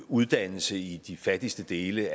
uddannelse i de fattigste dele